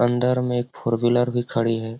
अंदर में एक फोर व्हीलर भी खड़ी है।